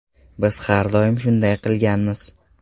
Biz har doim shunday qilganmiz.